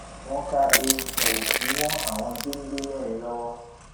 wọn ká eegun òkú mọ àwọn géńdé mẹrin lọwọ